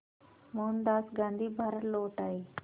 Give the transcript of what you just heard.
मोहनदास गांधी भारत लौट आए